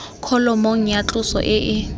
kholomong ya tloso e e